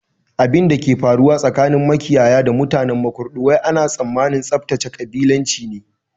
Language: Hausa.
Abinda ke faruwa tsakanin makiyaya da mutanen Makurdi wai ana tsammanin tsaftace kabilanci ne